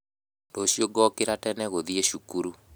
Rũciũ ngokĩra tene gũthiĩ cukuru